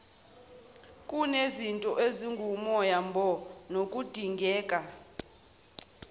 kunezinto ezingumyombo nokudingeka